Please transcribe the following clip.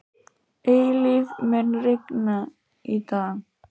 Eilíf, mun rigna í dag?